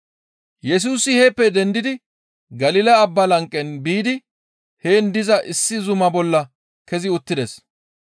Yesusi heeppe dendidi Galila abbaa lanqe biidi heen diza issi zuma bolla kezi uttides.